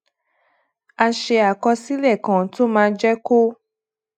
ó ṣe àkọsílè kan tó máa jé kó